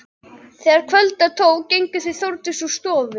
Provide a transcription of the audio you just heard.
Þegar kvölda tók gengu þau Þórdís úr stofu.